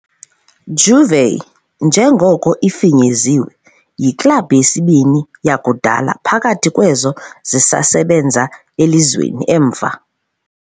"Juve", njengoko ifinyeziwe, yiklabhu yesibini yakudala phakathi kwezo zisasebenza elizweni, emva.